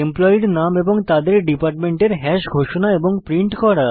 এমপ্লয়ীর নাম এবং তাদের ডিপার্টমেন্টের হ্যাশ ঘোষণা এবং প্রিন্ট করা